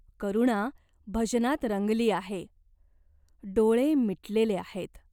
करुणा भजनात रंगली आहे. डोळे मिटलेले आहेत.